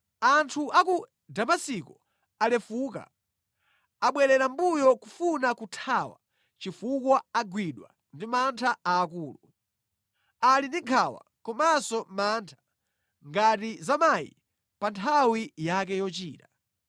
Anthu a ku Damasiko alefuka. Abwerera mʼmbuyo kufuna kuthawa chifukwa agwidwa ndi mantha aakulu. Ali ndi nkhawa komanso mantha ngati za mayi pa nthawi yake yochira.